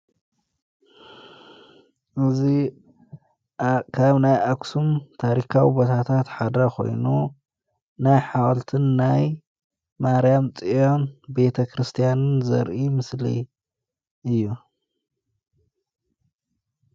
እዙ ካብ ናይ ኣኩስም ታሪካዊ በታታ ትሓድሪ ኾይኑ ናይ ሓዋልትን ናይ ማርያም ጽዮን ቤተ ክርስቲያንን ዘርኢ ምስሊ እዩ።